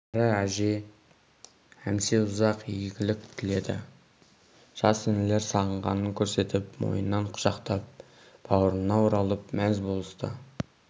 кәрі әже әмсе ұзақ игілік тіледі жас інілер сағынғанын көрсетіп мойнынан құшақтап баурына оралып мәз болысты